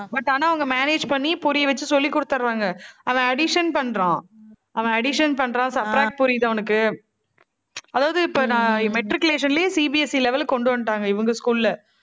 but ஆனா, அவங்க manage பண்ணி, புரிய வச்சு சொல்லி கொடுத்துறாங்க. அவன் addition பண்றான். அவன் addition பண்றான். subtract புரியுது அவனுக்கு. அதாவது, இப்ப நான் matriculation லேயே CBSE level க்கு கொண்டு வந்துட்டாங்க, இவங்க school ல